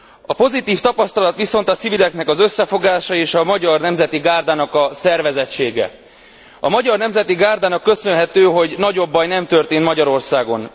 A pozitív tapasztalat viszont a civileknek az összefogása és a Magyar Nemzeti Gárdának a szervezettsége. A Magyar Nemzeti Gárdának köszönhető, hogy nagyobb baj nem történt Magyarországon.